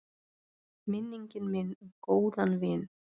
Minning mín um góðan vin.